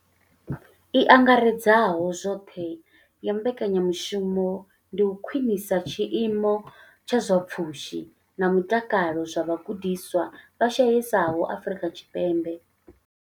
I angaredzaho zwoṱhe ya mbekanya mushumo ndi u khwinisa tshiimo tsha zwa pfushi na mutakalo zwa vhagudiswa vha shayesaho Afrika Tshipembe.